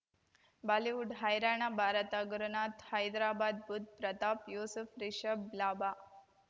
Bollywood ಹೈರಾಣ ಭಾರತ ಗುರುನಾಥ್ ಹೈದ್ರಾಬಾದ್ ಬುಧ್ ಪ್ರತಾಪ್ ಯೂಸುಫ್ ರಿಷಬ್ ಲಾಭ